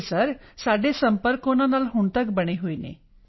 ਜੀ ਸਰ ਸਾਡੇ ਸੰਪਰਕ ਉਨ੍ਹਾਂ ਨਾਲ ਹੁਣ ਤੱਕ ਬਣੇ ਹੋਏ ਹਨ